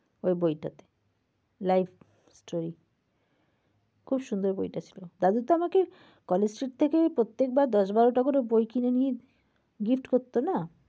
ওই বইটা তে। life story । খুব সুন্দর বইটা ছিল। দাদু তো আমাকে college street থেকেই প্রত্যেকবার দশ বারোটা করে বই কিনে নিয়ে gift করতো না।